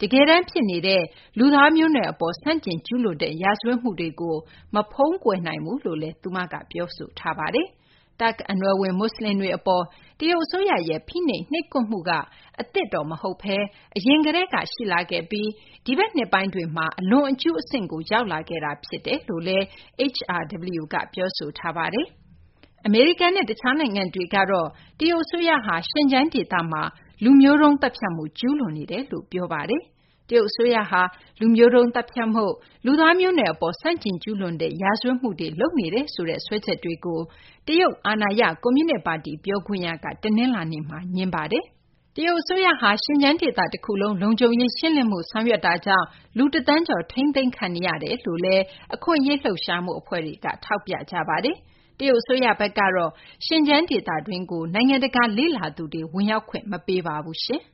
က တကယ်တန်း ဖြစ်နေတဲ့ လူသားမျိုးနွယ် အပေါ် ဆန့်ကျင် ကျူးလွန်တဲ့ ရာဇဝတ်မှုတွေကို မဖုံးကွယ်နိုင်ဘူးလို့လည်း ပြောဆိုထားပါတယ်။ တာခ့် အနွယ်ဝင် မူဆလင်တွေ အပေါ် တရုတ် အစိုးရရဲ့ ဖိနှိပ် နှိပ်ကွပ်မှုက အသစ် မဟုတ်ဘဲ အရင်ကတည်းက ရှိလာခဲ့ပြီး ဒီဘက်နှစ်ပိုင်းတွေမျာ အလွန်အကျူး အဆင့်ကို ရောက်လာခဲ့တာ ဖြစ်ကြောင်းလည်း HRW က ပြောပါတယ်။ အမေရိကန်နဲ့ တခြားနိုင်ငံတွေကတော့ တရုတ် အစိုးရဟာ Xinjiang ဒေသမှာ လူမျိုးတုံး သတ်ဖြတ်မှု ကျူးလွန်နေတယ်လို့ ပြောဆိုထားပါတယ်။ တရုတ်အစိုးရဟာ လူမျိုးတုန်း သတ်ဖြတ်မှု၊ လူသားမျိုးနွယ် အပေါ် ဆန့်ကျင်ကျူးလွန်တဲ့ ရာဇဝတ်မှုတွေ လုပ်နေတယ်ဆိုတဲ့ စွပ်စွဲချက်တွေကို တရုတ် အာဏာရ ကွန်မြူနစ် ပါတီ ပြောခွင့်ရက တနလာၤနေ့မှာ ငြင်းဆိုပါတယ်။ တရုတ် အစိုးရဟာ Xinjiang ဒေသတခုလုံး လုံခြုံရေး ရှင်းလင်းမှု ဆောင်ရွက်နေမှုကြောင့် လူတသန်းကျော် ထိန်းသိမ်းခံနေရကြေင်း အခွင့်အရေး လှုပ်ရှားမှု အဖွဲ့တွေက ထောက်ပြကြပါတယ်။ တရုတ် အစိုးရဘက်ကတော့ Xinjiang ဒေသတွင်းကို နိုင်ငံတကာ လေ့လာသူတွေ ဝင်ရောက်ခွင့် မပေးပါဘူး။